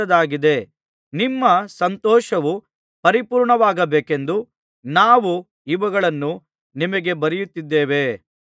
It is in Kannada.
ನಿಮ್ಮ ಸಂತೋಷವು ಪರಿಪೂರ್ಣವಾಗಬೇಕೆಂದು ನಾವು ಇವುಗಳನ್ನು ನಿಮಗೆ ಬರೆಯುತ್ತಿದ್ದೇವೆ